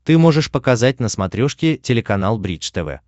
ты можешь показать на смотрешке телеканал бридж тв